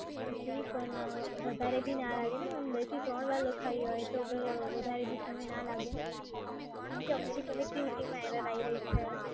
જી પણ, વધારે બી ના લાગે છે ને, મેડમ? બે થી ત્રણ વાર લખાઈ હોય તો વધારે સમય ના લાગે છે ને? કેમ કે અમને બી connectivity માં error આઈ રહી છે.